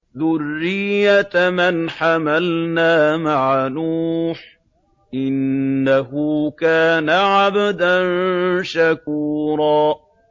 ذُرِّيَّةَ مَنْ حَمَلْنَا مَعَ نُوحٍ ۚ إِنَّهُ كَانَ عَبْدًا شَكُورًا